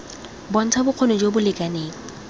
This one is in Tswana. bontsha bokgoni jo bo lekaneng